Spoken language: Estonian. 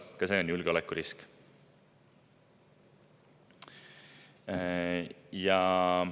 Ka see on julgeolekurisk.